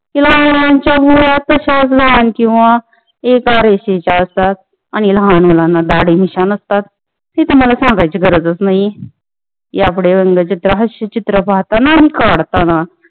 लहान मुलांची लहान किंवा एका रेषेची असतात आणि लहान मुलांना दाढी मिशा नसतात ती तुम्हाला सांगायची गरजच नाहीये यापुढे व्यंग चित्र पाहताना आणि काढताना